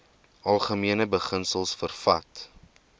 algemene beginsels vervat